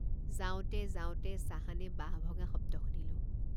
যাওঁতে যাওঁতে চাহানে বাঁহ ভঙা শব্দ শুনিলোঁ।